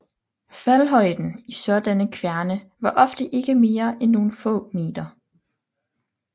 Faldhøjden i sådanne kværne var ofte ikke mere end nogen få meter